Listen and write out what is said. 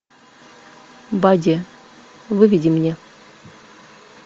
бади выведи мне